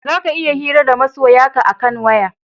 Za ka iya hira da masoya ka a kan waya